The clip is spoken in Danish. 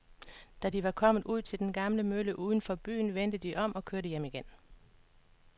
Da de var kommet ud til den gamle mølle uden for byen, vendte de om og kørte hjem igen.